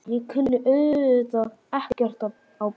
Ég kunni auðvitað ekkert á bíla.